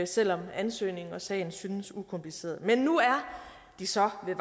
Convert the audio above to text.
selv om ansøgningen og sagen synes ukompliceret men nu er de så ved